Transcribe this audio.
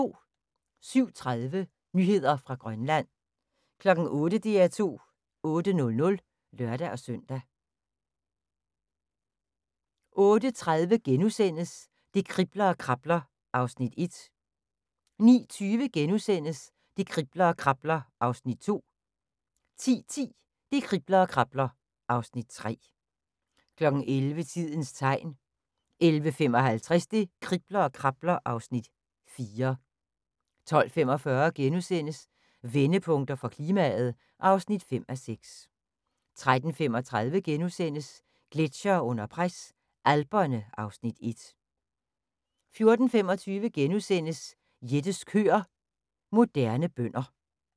07:30: Nyheder fra Grønland 08:00: DR2 8:00 (lør-søn) 08:30: Det kribler og krabler (Afs. 1)* 09:20: Det kribler og krabler (Afs. 2)* 10:10: Det kribler og krabler (Afs. 3) 11:00: Tidens Tegn 11:55: Det kribler og krabler (Afs. 4) 12:45: Vendepunkter for klimaet (5:6)* 13:35: Gletsjere under pres – Alperne (Afs. 1)* 14:25: Jettes køer – Moderne bønder *